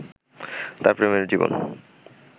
তার প্রেমের জীবন